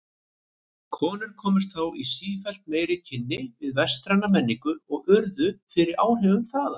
Konur komust þá í sífellt meiri kynni við vestræna menningu og urðu fyrir áhrifum þaðan.